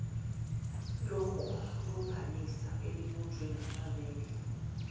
lokulumbanisa elibunjwe ngabammeli